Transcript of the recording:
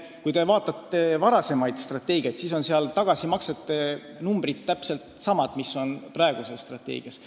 Kui te vaatate varasemaid strateegiaid, siis näete, et tagasimaksete numbrid on täpselt samad, mis on praeguses strateegias.